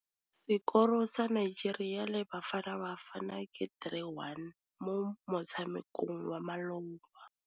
Sekôrô sa Nigeria le Bafanabafana ke 3-1 mo motshamekong wa malôba.